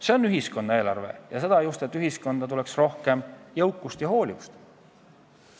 See on ühiskonna eelarve, sest eesmärk on, et ühiskonda tuleks rohkem jõukust ja hoolivust.